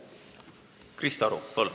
Krista Aru, palun!